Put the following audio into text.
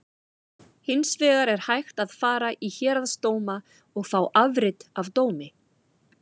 Hins vegar er hægt að fara í héraðsdóma og fá afrit af dómi.